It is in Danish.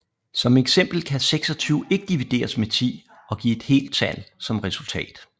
Som eksempel kan 26 ikke divideres med 10 og give et helt tal som resultat